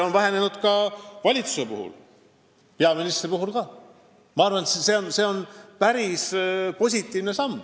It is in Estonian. Võib öelda, et see muutus on umbes 10%, ja ma arvan, et see on päris positiivne samm.